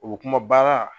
O bɛ kuma baara